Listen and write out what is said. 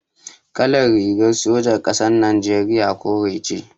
Kalar rigar sojan ƙasar Najeriya kore ce.